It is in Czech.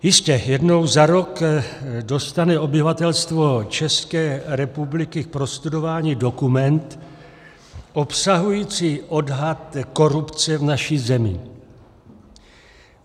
Jistě, jednou za rok dostane obyvatelstvo České republiky k prostudování dokument obsahující odhad korupce v naší zemi.